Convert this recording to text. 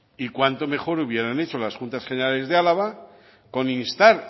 y cuanto mejor hubieran hecho las juntas generales de álava con instar